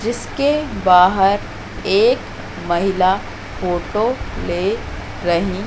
जिसके बाहर एक महिला फोटो ले रही--